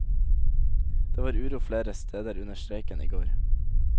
Det var uro flere steder under streiken i går.